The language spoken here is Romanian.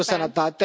pentru sănătate.